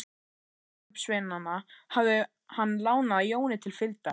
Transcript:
Biskupssveinana hafði hann lánað Jóni til fylgdar.